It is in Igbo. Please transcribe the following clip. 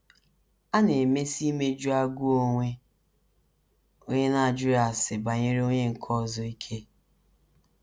A na - emesi imeju agụụ onwe onye n’ajụghị ase banyere onye nke ọzọ ike.